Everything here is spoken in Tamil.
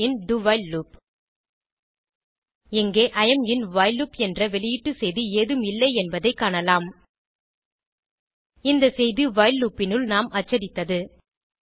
E am in do while loop இங்கே I am in while loop என்ற வெளியீட்டு செய்தி ஏதும் இல்லை என்பதை காணலாம் இந்த செய்தி வைல் லூப் னுள் நாம் அச்சடித்தது